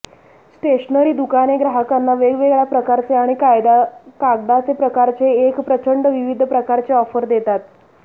stationery दुकाने ग्राहकांना वेगवेगळ्या प्रकारचे आणि कागदाचे प्रकारचे एक प्रचंड विविध प्रकारचे ऑफर देतात